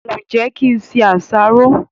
ǹjẹ́ kí n se àsáró?